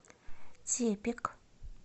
тепик